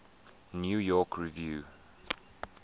new york review